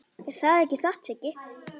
Er það ekki satt, Siggi?